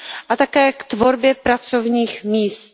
a také k tvorbě pracovních míst.